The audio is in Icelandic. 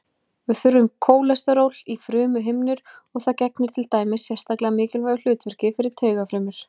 Við þurfum kólesteról í frumuhimnur og það gegnir til dæmis sérstaklega mikilvægu hlutverki fyrir taugafrumur.